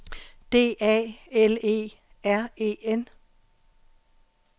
D A L E R E N